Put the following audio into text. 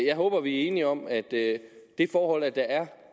jeg håber vi er enige om at det det forhold at der er